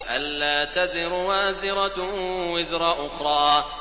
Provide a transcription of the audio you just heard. أَلَّا تَزِرُ وَازِرَةٌ وِزْرَ أُخْرَىٰ